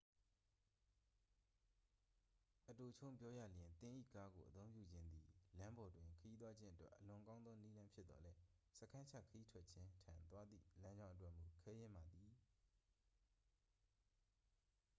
"အတိုချုံးပြောရလျှင် သင်၏ကားကိုအသုံးပြုခြင်းသည် လမ်းပေါ်တွင်ခရီးသွားခြင်းအတွက် အလွန်ကောင်းသော နည်းလမ်းဖြစ်သော်လည်း "စခန်းချခရီးထွက်ခြင်း" ထံသွားသည့် လမ်းကြောင်းအတွက်မူ ခဲယဉ်းပါသည်။